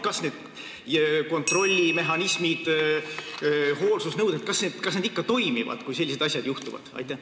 Kas kontrollimehhanismid ja hoolsusnõuded ikka toimivad, kui sellised asjad juhtuvad?